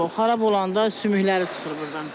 O olur, xarab olanda sümükləri çıxır burdan.